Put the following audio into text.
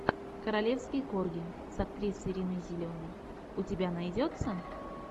королевский корги с актрисой риной зеленой у тебя найдется